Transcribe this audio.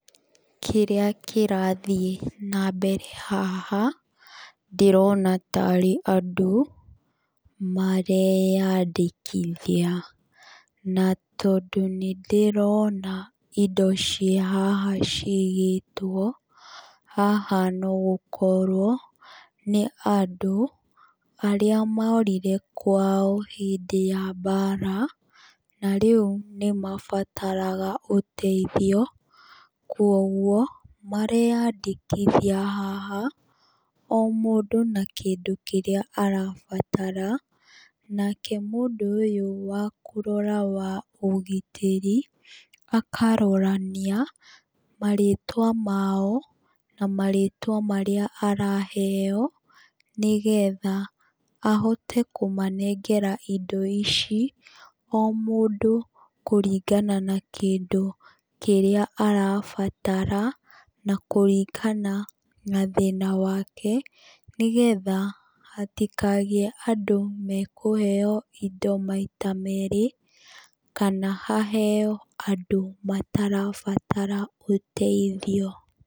Kĩrĩa kĩrathiĩ na mbere haha nĩ ndĩrona tarĩ andũ mareyandĩkithia na tondũ nĩndĩrona indo cia haha cigĩtwo noũkorwo nĩ andũ arĩa morire kwao hĩndĩ ya mbara na rĩu nĩ mabataraga ũteithio koguo mareyandĩkithia haha o mũndũ na kĩndũ kĩrĩa arabatara nake mũndũ ũyũ wakũrora ũgitĩri akarora nĩya marĩtwa mao na marĩtwa marĩa araheo nĩgetha ahote kũmanengera indo ici o mũndũ kũringana kĩndũ kĩrĩa arabatara na kũringana na thĩna wake nĩgetha hatikagĩe andũ mekũheo indo maita mere kana haheo andũ marabatara ũteithio.